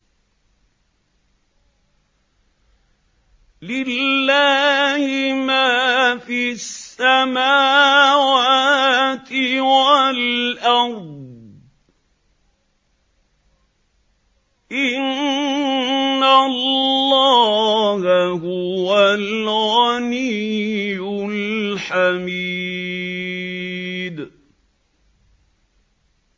لِلَّهِ مَا فِي السَّمَاوَاتِ وَالْأَرْضِ ۚ إِنَّ اللَّهَ هُوَ الْغَنِيُّ الْحَمِيدُ